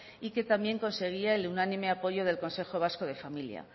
y que también conseguía el unánime apoyó del consejo vasco de la familia